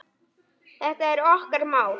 Þetta er okkar mál.